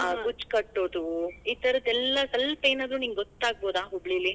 ಆ ಗುಚ್ಚ್ ಕಟ್ಟೋದು, ಈ ತರದ ಎಲ್ ಸ್ವಲ್ವ ಏನಾದ್ರೂ ನಿಂಗ ಗೊತ್ತಾಗಬೋದಾ ಹುಬ್ಳೀಲಿ.